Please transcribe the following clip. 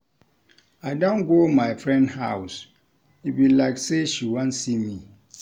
I don go my friend house, e be like sey she wan see me.